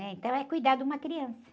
Então, é cuidar de uma criança.